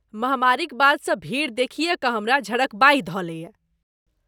महामारीक बादसँ भीड़ देखिये कऽ हमरा झड़कबाहि धऽ लैए।